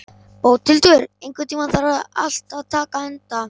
Bóthildur, einhvern tímann þarf allt að taka enda.